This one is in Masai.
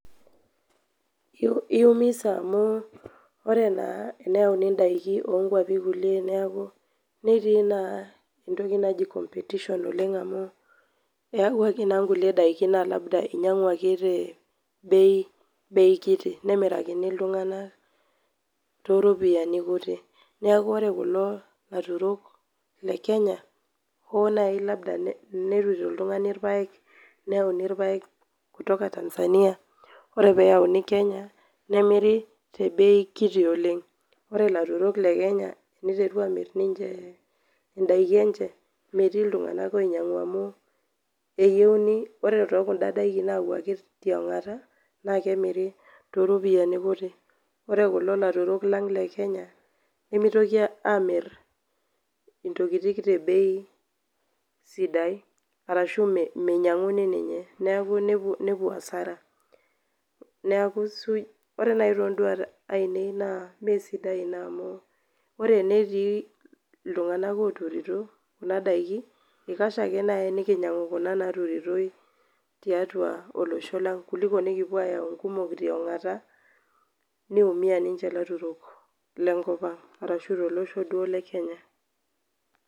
Eiumisa amuu iyiolo naa teneyauni in'daiki onkulie kwwapi netii naa entoki naji competition oleng amuu eyawuaki naa kulie daiki naa labda einyiang'uaki naa te bei kiiti nemirkini iltung'anak toropiyiani kutik. Niaku oore kulo aturok le Kenya naaji tenetuturo oltung'ani irpayek, neyauni irpayek kutoka Tanzania, iyiolo pee eyauni Kenya, nemiri te bei kiiti oleng iyiolo ilaturok le Kenya, teneiteru aamir ninche in'daiki eenye metii iltung'anak oinyiang'au amuu meyieuni ore too kun'da daikin nayawuaki tiong'ota naa kemiri too ropiyiani kutik. Oore kulo aturok lang le Kenya nemeitoki amir intiokitin te bei sidai arashu meinyiang'uni ninye niaku nepuo[cs[hasara. Niaku suuji. Oore naaji ton'duat ainea naa imesidai iina amuu, oore enetii iltung'anak oturito kuuna daiki eikasha aake naaji enekinyiang'u kuna naturitoi tiatua olosho lang kuliko nekipuo ayau inkumok tiong'ata neiumia ninche ilairemok lolosho lang.